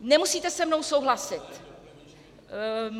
Nemusíte se mnou souhlasit.